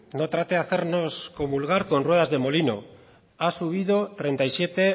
no trate de hacernos comulgar con ruedas de molino ha subido treinta y siete